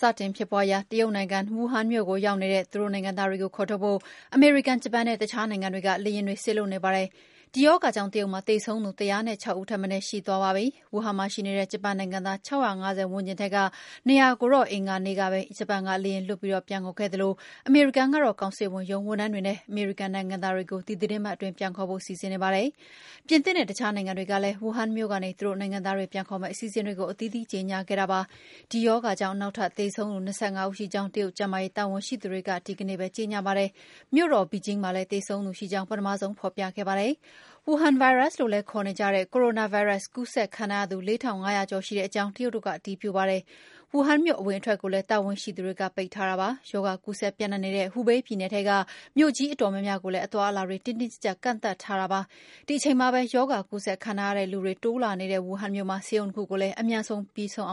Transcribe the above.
စတင်ဖြစ်ပွားရာ တရုတ်နိုင်ငံ၊ ဝူဟန်မြို့ကိုရောက်နေတဲ့ သူတို့နိုင်ငံသားတွေကို ခေါ်ထုတ်ဖို့ အမေရိကန်၊ ဂျပန်နဲ့ အခြားနိုင်ငံတွေက လေယာဉ်တွေ စေလွှတ်နေကြပါတယ်။ ဒီရောဂါကြောင့်တရုတ်မှာ သေဆုံးသူ ၁၀၆ ဦးထက်မနည်း ရှိသွားပါပြီ။ ဝူဟန်မှာရှိနေတဲ့ ဂျပန်နိုင်ငံသား ၆၅၀ ဝန်းကျင်ထဲက ၂၀၀ ကို အင်္ဂါနေ့ပဲ ဂျပန်ကလေယာဉ်လွှတ်ပြီး ပြန်ခေါ်ခဲ့သလို အမေရိကန်ကတော့ ကောင်စစ်ဝန်ရုံးဝန်ထမ်းတွေနဲ့ အမေရိကန်နိုင်ငံသားတွေကို ဒီသီတင်းပတ်အတွင်း ပြန်ခေါ်ဖို့ စီစဉ်နေပါတယ်။ ပြင်သစ်နဲ့ အခြားနိုင်ငံတွေကလည်း ဝူဟန်မြို့ကနေ သူတို့နိုင်ငံသားတွေပြန်ခေါ်မယ့် အစီအစဉ်တွေကို အသီးသီးကြေညာခဲ့ကြပါတယ်။ ဒီရောဂါကြောင့် နောက်ထပ်သေဆုံးသူ ၂၅ ဦးရှိကြောင်း တရုတ်ကျန်းမာရေးတာဝန်ရှိသူတွေက အင်္ဂါနေ့မှာ ကြေညာပါတယ်။ မြို့တော် Beijing မှာလည်းပ ထမဆုံးသေဆုံးသူရှိကြောင်း ဖော်ပြခဲ့တာပါ။ ဝူဟန်ဗိုင်းရပ်စ်လို့လည်းခေါ်နေကြတဲ့ Coranavirus ကူးစက်ခံထားရသူ ၄၅၀၀ ကျော်ရှိကြောင်းလည်း တရုတ်တို့က အတည်ပြုပါတယ်။ ဝူဟန်မြို့အဝင်အထွက်ကို လည်းတာဝန်ရှိသူတွေပိတ်ထားပါတယ်။ ရောဂါကူးစက်ပြန့်နှံ့နေတဲ့ Hubei ပြည်နယ်ထဲက မြို့ကြီးအတော်များများကိုလည်း အသွားအလာတွေ တင်းတင်းကြပ်ကြပ် ကန့်သတ်ထားတာပါ။ ဒီအချိန်မှာပဲ ရောဂါကူးစက်ခံထားရတဲ့လူတွေ တိုးလာနေတဲ့ ဝူဟန်မြို့မှာ ဆေးရုံ ၂ ခုကိုလည်း အမြန်ပြီးအောင်